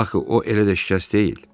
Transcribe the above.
Axı o elə də şikəst deyil.